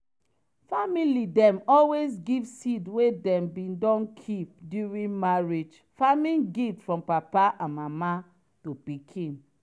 family dem always give seed wey dem bin don keep during marriage farming gift from papa and mama to pikin.